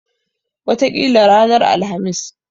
Wataƙila ranar Alhamis.